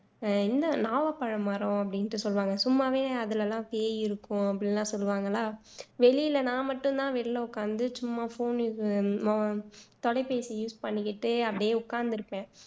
அஹ் இந்த நாவல் பழ மரம் அப்படினுட்டு சொல்லுவாங்க சும்மாவே அதுல எல்லாம் பேயி இருக்கும் அப்படின்னு எல்லாம் சொல்லுவாங்களா வெளில நான் மட்டும் தான் வெளிய உக்காந்து சும்மா phone தொலைப்பேசி use பண்ணிகிட்டு அப்படியே உக்காந்துருப்பேன்